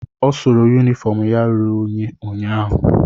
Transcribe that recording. Ọ sụrụ yunifọm ya ruru unyi ụnyaahụ.